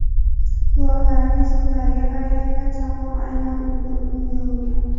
Guvohlarning so‘zlariga qaraganda, chaqmoq aynan unga urgan.